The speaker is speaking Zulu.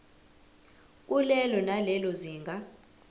kulelo nalelo zinga